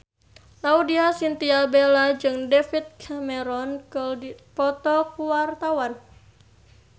Laudya Chintya Bella jeung David Cameron keur dipoto ku wartawan